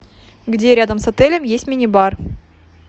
где рядом с отелем есть мини бар